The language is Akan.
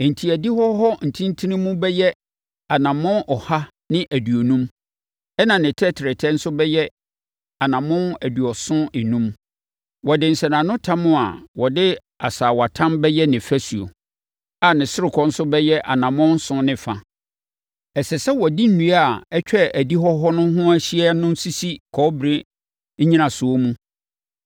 Enti, adihɔ hɔ ntentenemu bɛyɛ anammɔn ɔha ne aduonum, ɛnna ne tɛtrɛtɛ nso ayɛ anammɔn aduɔson enum. Wɔde nsɛnanotam a wɔde asaawatam bɛyɛ ne fasuo, a ne ɔsorokɔ nso bɛyɛ anammɔn nson ne fa. Ɛsɛ sɛ wɔde nnua a atwa adihɔ hɔ no ho ahyia no sisi kɔbere nnyinasoɔ mu.